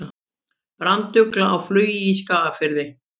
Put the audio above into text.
Brandugla á flugi í Skagafirði.